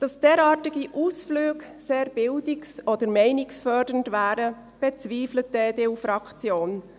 Dass derartige Ausflüge sehr bildungs- oder meinungsfördernd wären, bezweifelt die EDU-Fraktion.